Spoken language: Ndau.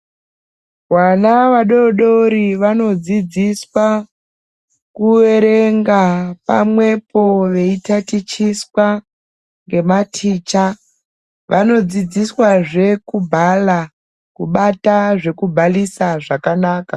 Vana vadoodori vanodzidziswa kuerenga pamwepo veitatichiswa ngematicha. Vanodzidziswazve kubhala, kubata zvekubhalisa zvakanaka.